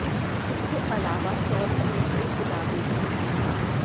इसके अलावा शौरी ने कई किताबें भी लिखी हैं